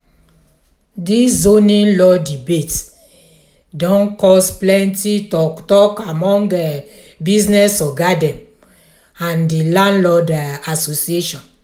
dis zoning law debate don cause plenty talk talk among business oga dem and di landlord association.